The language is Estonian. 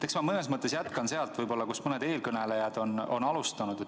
Eks ma mõnes mõttes jätkan sealt, kust mõned eelkõnelejad on alustanud.